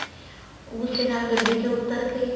ਉਸੇ ਨਾਲ ਗੱਡੀ ਚੋ ਉੱਤਰ ਕੇ